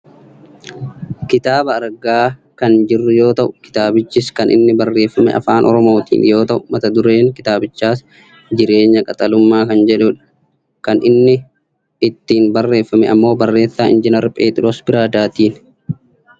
Kitaaba argaa kan jirru yoo ta'u kitaabichis kan inni barreeffame afaan oromootiin yoo ta'u mata dureen kitaabichaas " jireenya qaxalummaa" kan jedhudha. Kan inni ittiin barreeffame ammoo barreessaa injiinar Pheexiroos Biradaatiini.